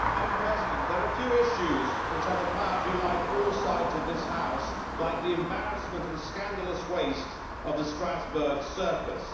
Madam President, there are few issues which have the power to unite all sides of this House like the embarrassment and scandalous waste of the Strasbourg circus.